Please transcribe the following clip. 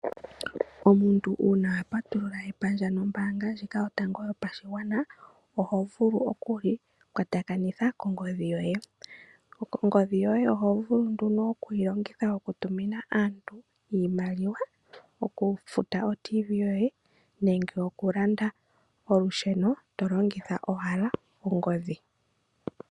Omuntu uuna a patulula epandja nombaanga ndjika yotango yopashigwana oho vulu oku li kwatakanitha kongodhi yoye. Kongodhi oho vulu nduno okuli longitha okutumina aantu iimaliwa, okufuta otiivii nenge okulanda olusheno to longitha owala ongodhi.